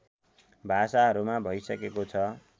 भाषाहरूमा भइसकेको छ